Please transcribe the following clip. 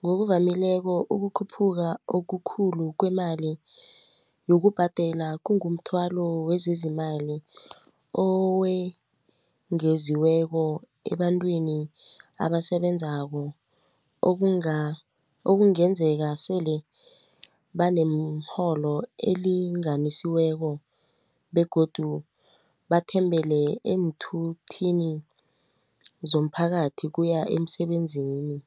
ngokuvamileko ukukhuphuka okukhulu kwemali yokubhadela kungumthwalo wezezimali owengeziweko ebantwini abasebenzako okungenzeka sele banemirholo elinganiselweko begodu bathembele eenthuthini zomphakathi kuya emsebenzini.